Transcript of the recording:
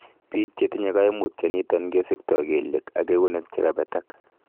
Biik chetinye koimutioniton kesikto kelyek ak eunek chekabetak.